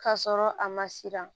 Ka sɔrɔ a ma siran